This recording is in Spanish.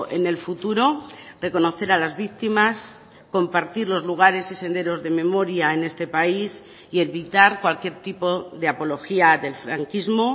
en el futuro reconocer a las víctimas compartir los lugares y senderos de memoria en este país y evitar cualquier tipo de apología del franquismo